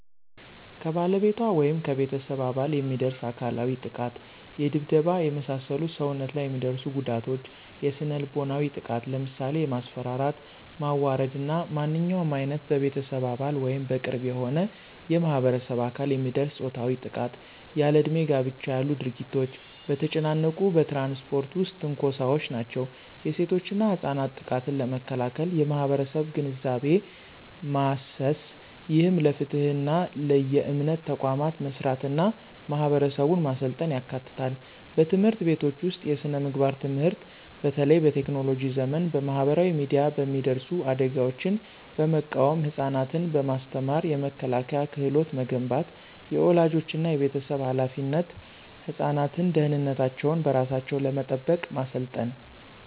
ከባለቤቷ ወይም ከቤተሰብ አባል የሚደርስ አካላዊ ጥቃት የድብደባ፣ የመሳሰሉ ሰውነት ላይ የሚደርሱ ጉዳቶች። የስነ-ልቦናዊ ጥቃት ለምሳሌ የማስፈራራት፣ ማዋረድ እና ማንኛውም ዓይነት በቤተሰብ አባል ወይም በቅርብ የሆነ የማህበረሰብ አባል የሚደርስ ፆታዊ ጥቃት። ያለእድሜ ጋብቻ ያሉ ድርጊቶች። በተጨናነቁ በትራንስፖርት ውስጥ ትንኮሳዎች ናቸው። የሴቶችና ህጻናት ጥቃትን ለመከላከል የማህበረሰብ ግንዛቤ ማሰስ፣ ይህም ለፍትህና ለየእምነት ተቋማት መስራትና ማህበረሰቡን ማሰልጠን ያካትታል። በትምህርት ቤቶች ውስጥ የስነ-ምግባር ትምህርት በተለይ በቴክኖሎጂ ዘመን በማህበራዊ ሚዲያ የሚደርሱ አደጋዎችን በመቃወም ህፃናትን በማስተማር የመከላከያ ክህሎት መገንባት። · የወላጆችና የቤተሰብ ኃላፊነት ህፃናትን ደህንነታቸውን በራሳቸው ለመጠበቅ ማሰልጠን።